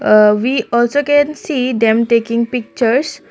uh we also can see them taking pictures.